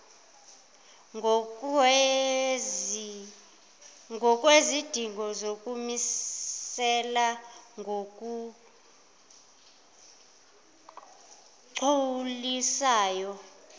ngokwezidingo zokumisela ngokugculisayo